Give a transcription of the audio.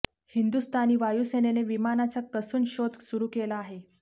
हिंदुस्थानी वायुसेनेने विमानाचा कसून शोध सुरू केला आहे